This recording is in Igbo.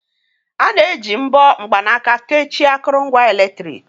A na-eji mbọ mgbanaka kechie akụrụngwa eletrik.